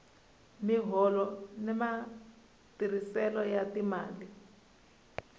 miholo na matirhiselo ya timali